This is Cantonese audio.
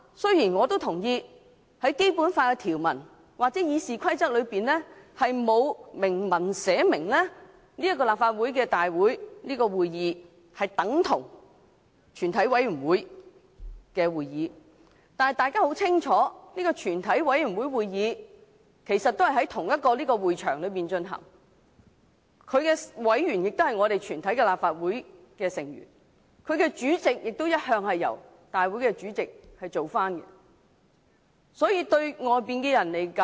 雖然我也同意《基本法》條文或《議事規則》並沒有訂明，立法會會議等同全體委員會會議。但是，大家很清楚，全體委員會會議其實與立法會會議在同一個會場進行，其委員亦是立法會全體議員，其主席亦由立法會會議的主席主持。